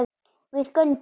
Við göngum